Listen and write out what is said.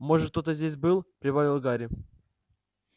может кто-то здесь был прибавил гарри